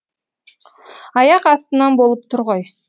аяқ астынан болып тұр ғой